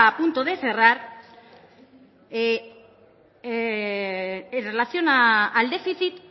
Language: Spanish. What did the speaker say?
punto de cerrar en relación al déficit